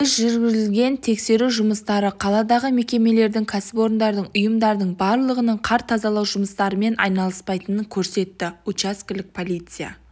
біз жүргізген тексеру жұмыстары қаладағы мекемелердің кәсіпорындардың ұйымдардың барлығының қар тазалау жұмыстарымен айналыспайтынын көрсетті учаскелік полиция